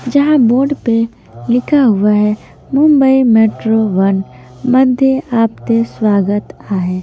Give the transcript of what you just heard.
जहां बोर्ड पे लिखा हुआ है मुंबई मेट्रो वन मध्ये आपते स्वागत आ है।